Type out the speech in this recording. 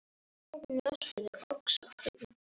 Gömul vísa í lokin.